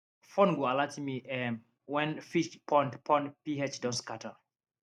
phone go alert me um when fish pond pond ph don scatter